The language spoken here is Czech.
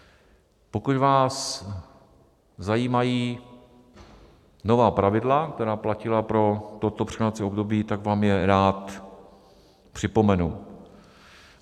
Pokud vás zajímají nová pravidla, která platila pro toto překlenovací období, tak vám je rád připomenu.